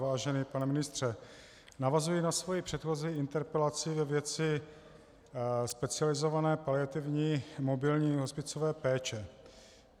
Vážený pane ministře, navazuji na svoji předchozí interpelaci ve věci specializované paliativní mobilní hospicové péče.